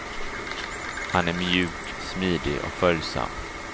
Han är mjuk, smidig och följsam.